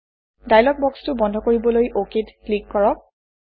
dialog বক্সটো বন্ধ কৰিবলৈ অক ত ক্লিক কৰক